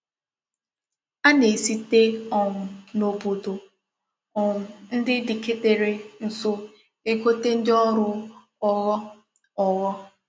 A na-esite um n'obodo um ndi diketere nso egote ndi órú ogho ogho.